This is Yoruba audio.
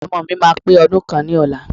Ọmọọ̀ mi máa pè ọdún kan ni ọ̀la.